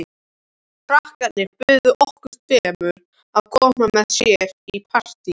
Krakkarnir buðu okkur tveimur að koma með sér í partí.